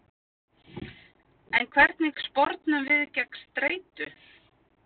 En hvernig spornum við gegn streitu?